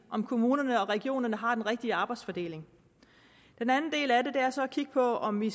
om kommunerne og regionerne har den rigtige arbejdsfordeling den anden del af det er så at kigge på om vi